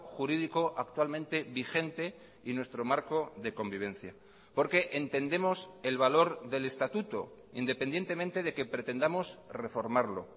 jurídico actualmente vigente y nuestro marco de convivencia porque entendemos el valor del estatuto independientemente de que pretendamos reformarlo